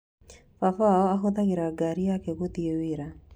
Baba wao ahũthĩraga ngari yake gũthiĩ wĩra.